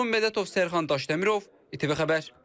Vurğun Mədətov, Sərxan Daşdəmirov, ITV Xəbər.